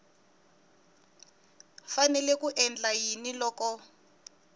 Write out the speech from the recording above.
fanele ku endla yini loko